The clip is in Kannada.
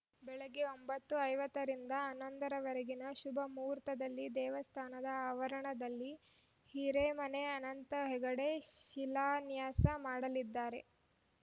ಬೆಳಗ್ಗೆ ಒಂಬತ್ತು ಐವತ್ತ ರಿಂದ ಹನ್ನೊಂದರವರೆಗಿನ ಶುಭ ಮುಹೂರ್ತದಲ್ಲಿ ದೇವಸ್ಥಾನದ ಆವರಣದಲ್ಲಿ ಹಿರೇಮನೆ ಅನಂತ ಹೆಗಡೆ ಶಿಲಾನ್ಯಾಸ ಮಾಡಲಿದ್ದಾರೆ